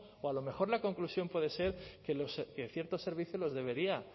o a lo mejor la conclusión puede ser que ciertos servicios los debería